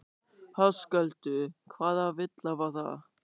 Höskuldur: Hvaða villa var það?